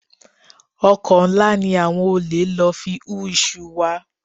Ọkọ́ ńlá ni àwọn olè lò fi hú iṣu wa